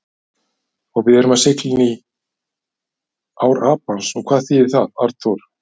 Og við erum að sigla inní ár Apans og hvað þýðir það, Arnþór?